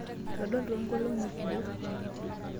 Eitu aadol toonkolong'I kumok.